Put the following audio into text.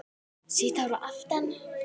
Sítt hár að aftan.